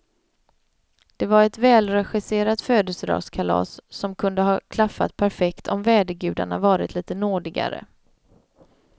Det var ett välregisserat födelsedagskalas som kunde ha klaffat perfekt om vädergudarna varit lite nådigare.